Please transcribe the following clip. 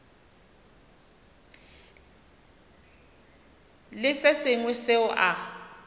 le se sengwe seo a